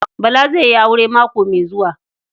Bala zai yi aure mako mai zuwa.